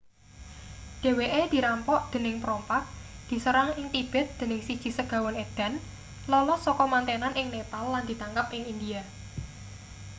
dheweke dirampok dening perompak diserang ing tibet dening siji segawon edan lolos saka mantenan ing nepal lan ditangkap ing india